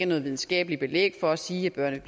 noget videnskabeligt belæg for at sige børnene